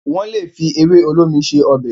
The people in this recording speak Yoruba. wón lè fi ewe olómi ṣe Ọbẹ̀